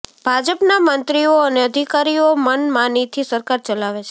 ભાજપના મંત્રીઓ અને અધિકારીઓ મનમાનીથી સરકાર ચલાવે છે